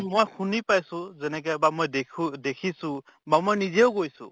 মই শুনি পাইছো যেনেকে বা মই দেখো দেখিছো বা মই নিজেও গৈছো